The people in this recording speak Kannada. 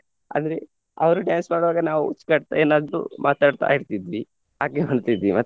ಆದ್ರೆ ಅವರು dance ಮಾಡುವಾಗ ನಾವು ಹುಚ್ಚು ಕಟ್ತಾ ಏನಾದ್ರು ಮಾತಾಡ್ತಾ ಇರ್ತಿದ್ವಿ ಹಾಗೆ ಮಾಡ್ತಿದ್ವಿ.